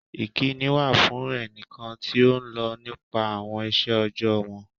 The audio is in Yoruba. Ìkíni wà fún ènìkàn tí o nlọ̀ nípa awọn ìṣẹ̀ ojọ́ọ̀ wọn